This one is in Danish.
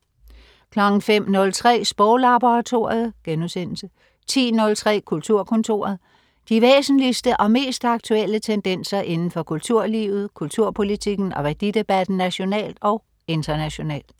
05.03 Sproglaboratoriet* 10.03 Kulturkontoret. De væsentligste og mest aktuelle tendenser inden for kulturlivet, kulturpolitikken og værdidebatten nationalt og internationalt